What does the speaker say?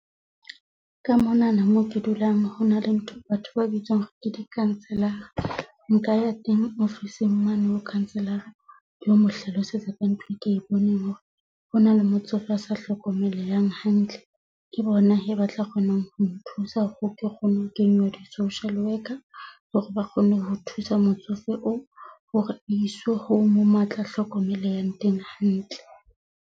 Ka monana moo ke dulang hona le ntho batho ba bitswang ke hore ke di-councilor-a. Nka ya teng ofising mane, ho councilor-a ke lo mo hlalosetsa ka ntho e ke e boneng hore hona le motsofe asa hlokomelehang hantle. Ke bona hee ba tla kgonang ho nthusa hore ke kgone ho kenywa di-social worker hore ba kgone ho thusa motsofe oo hore iswe home moo atla hlokomeleha teng hantle.